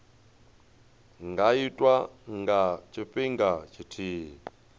nga itwa nga tshifhinga tshithihi